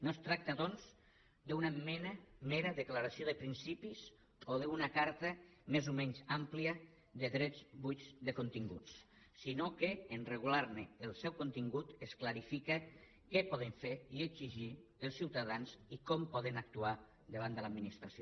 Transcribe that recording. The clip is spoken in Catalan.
no es tracta doncs d’una mera declaració de principis o d’una carta més o menys àmplia de drets buits de continguts sinó que en regular ne el contingut es clarifica què podem fer i exigir els ciutadans i com poden actuar davant de l’administració